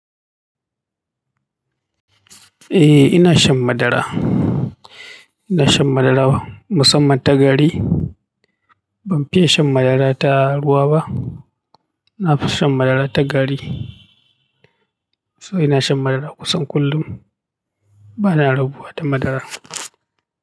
Eh, ina shan madara. Ina shan madara musamman ta gari. Ban fiye shan madara ta ruwa ba. Na fi shan madara ta gari. So ina shan madara kusan kullum. Bana rabuwa da madara.